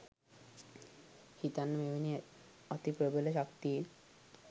හිතන්න මෙවැනි අති ප්‍රභල ශක්තින්